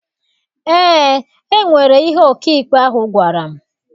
Eé, enwere ihe ọkaikpe ahụ gwara m.